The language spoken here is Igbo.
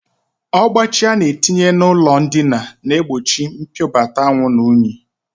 Ọgbachi a na-etinye n'ụlọndina na-egbochi mpiobata anwụ na unyi